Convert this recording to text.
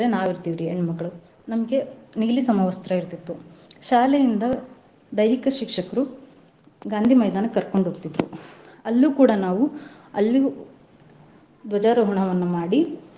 ನಾವ್ ಇರ್ತಿವ್ ರೀ ಹೆಣ್ಮಕ್ಳೂ ನಮ್ಗೆ ನೀಲಿ ಸಮವಸ್ತ್ರ ಇರ್ತೀತ್ತು. ಶಾಲೆಯಿಂದ ದೈಹಿಕ ಶಿಕ್ಷಕ್ರು ಗಾಂಧೀ ಮೈದಾನಕ್ ಕರ್ಕೊಂಡ್ ಹೋಗ್ತಿದ್ರು ಅಲ್ಲೂ ಕೂಡಾ ನಾವೂ ಅಲ್ಲಿಯೂ ದ್ವಜಾರೋಹಣವನ್ನ ಮಾಡಿ.